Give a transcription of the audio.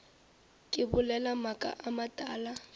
ke bolela maaka a matala